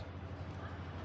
Ayaq yanır.